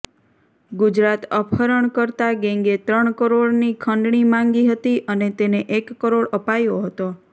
ગુજરાત અપહરણકર્તા ગેંગે ત્રણ કરોડની ખંડણી માંગી હતી અને તેને એક કરોડ અપાયો હતો